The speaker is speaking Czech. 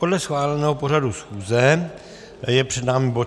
Podle schváleného pořadu schůze je před námi bod